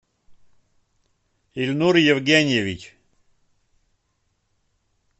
ильнур евгеньевич